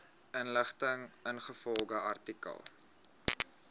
inligting ingevolge artikel